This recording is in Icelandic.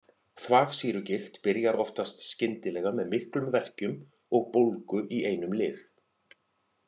Þvagsýrugigt byrjar oftast skyndilega með miklum verkjum og bólgu í einum lið.